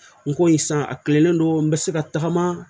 N ko yen san a kilelen don n bɛ se ka tagama